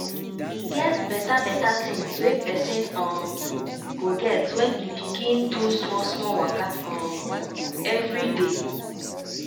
e get beta beta tinz wey pesin um go get when e begin do small small waka um everyday